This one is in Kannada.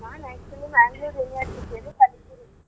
ನಾನ್ actually Manglore University ಅಲ್ಲಿ ಕಲಿತಿರೋದು.